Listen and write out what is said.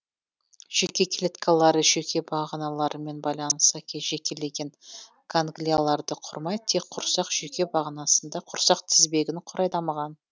жүйке клеткалары жүйке бағаналарымен байланыса жекелеген ганглияларды құрмай тек құрсақ жүйке бағанасында құрсақ тізбегін құрай дамыған